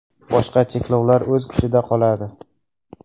Boshqa cheklovlar o‘z kuchida qoladi.